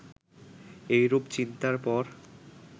এইরূপ চিন্তার পর